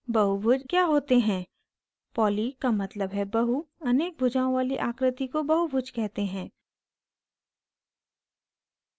बहुभुज the होते हैं poly का मतलब है बहु अनेक भुजाओं poly आकृति को बहुभुज कहते हैं